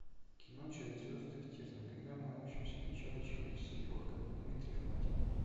кино через звезды к терниям когда мы научимся печатать человеческие органы дмитрий фадин